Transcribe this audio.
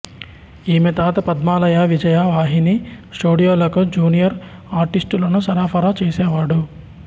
ఈమె తాత పద్మాలయ విజయ వాహిని స్టూడియోలకు జూనియర్ ఆర్టిస్టులను సరఫరా చేసేవాడు